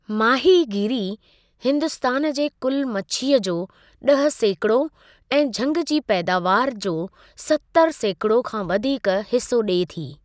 माहीगीरी हिन्दुस्तान जे कुलु मछीअ जो ॾह सैकिड़ो ऐं झंगि जी पैदावारु जो सतरि सैकिड़ो खां वधीक हिसो ॾिए थी।